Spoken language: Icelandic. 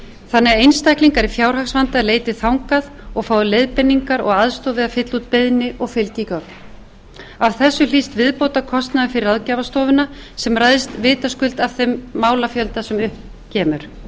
þannig að einstaklingar í fjárhagsvanda leiti þangað og fái leiðbeiningar og aðstoð viða að fylla út beiðni og fylgigögn af þessu hlýst viðbótarkostnaður fyrir ráðgjafarstofuna sem ræðst vitaskuld af þeim málafjölda sem upp kemur er nánar gerð grein